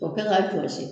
O kɛ ka jɔsi